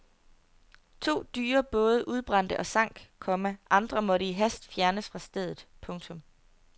To dyre både udbrændte og sank, komma andre måtte i hast fjernes fra stedet. punktum